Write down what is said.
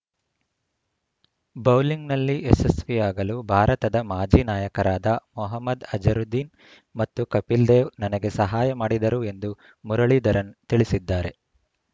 ಬೌಲಿಂಗ್‌ನಲ್ಲಿ ಯಶಸ್ವಿಯಾಗಲು ಭಾರತದ ಮಾಜಿ ನಾಯಕರಾದ ಮೊಹಮ್ಮದ್‌ ಅಜರುದ್ದೀನ್‌ ಮತ್ತು ಕಪಿಲ್‌ ದೇವ್‌ ನನಗೆ ಸಹಾಯ ಮಾಡಿದರು ಎಂದು ಮುರಳಿಧರನ್‌ ತಿಳಿಸಿದ್ದಾರೆ